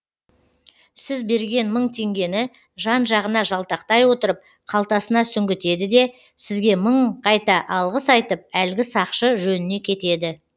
сіз берген мың теңгені жан жағына жалтақтай отырып қалтасына сүңгітеді де сізге мың қайта алғыс айтып әлгі сақшы жөніне кетеді